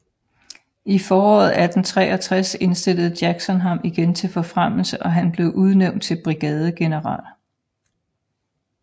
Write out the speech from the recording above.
I foråret 1863 indstillede Jackson ham igen til forfremmelse og han blev udnævnt til brigadegeneral